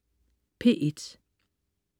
P1: